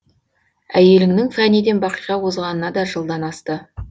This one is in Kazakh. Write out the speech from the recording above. әйеліңнің фәниден бақиға озғанына да жылдан асты